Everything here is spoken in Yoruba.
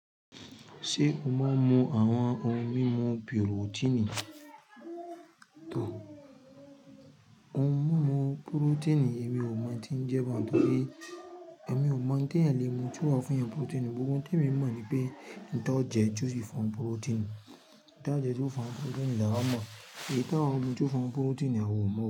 Ṣé o maa mu àwọn ohun mímu pirotíìnì? Ohun mímu purotíìnì èmi ò mọ̀ tí ń jẹ́ baun, nítorí èmi ò mọ̀ ńtẹ̀yan le mu tí o wà fún'yan purotíìnì. Gbogbo oun temi mọ̀ ni pé, oun tó je ti o si fún o purotíìnì. Oun taa jẹ tió fún wa purotíìnì lawa mo, èyí tí àwọn mi tió fún won ni purotíìnì àwa ò mọ̀